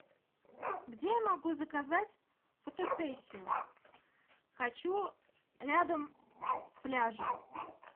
где я могу заказать фотосессию хочу рядом с пляжем